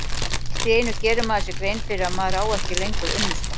Allt í einu gerir maður sér grein fyrir að maður á ekki lengur unnusta.